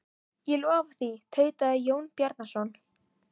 Ég lofa því, tautaði Jón Bjarnason.